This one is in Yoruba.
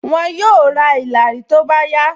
Wọn yóò ra ìlàrí tó bá yá